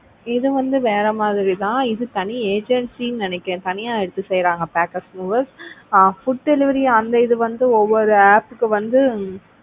இது வந்து வேற மாதிரி தான் இது தனி agency நினைக்கிறேன் தனியா எடுத்து செய்றாங்க. packers movers ஆஹ் food delivery அந்த இது வந்து ஒவ்வொரு app க்கு வந்து,